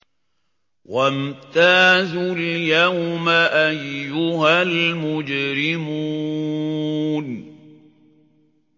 وَامْتَازُوا الْيَوْمَ أَيُّهَا الْمُجْرِمُونَ